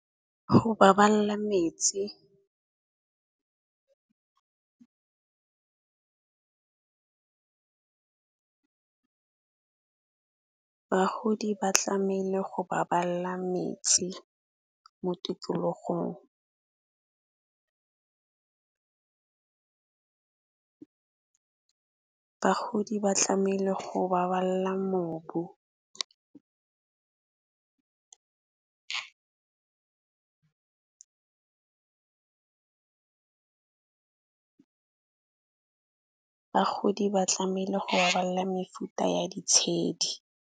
Go baballa metsi bagodi ba tlameile go baballa metsi mo tikologong. Bagodi ba tlamele go baballa mobu bagodi ba tlamele go balla mefuta ya di tshedi.